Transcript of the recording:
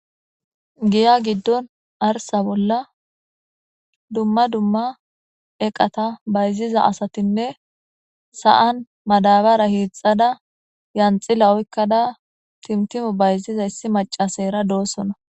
giya giddon arsa bolla dumma dumma eqata bayziza asatinne sa7an madabara hiixxada yanxila oykkada timtimo bayziza issi macasayra doossona